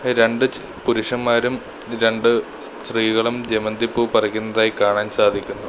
രണ്ട് പുരുഷന്മാരും രണ്ട് സ്ത്രീകളും ജമന്തിപ്പൂ പറിക്കുന്നതായി കാണാൻ സാധിക്കുന്നു.